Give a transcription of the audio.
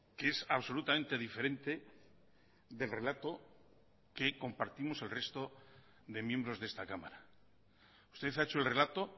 que es absolutamente diferente del relato que compartimos el resto de miembros de esta cámara usted ha hecho el relato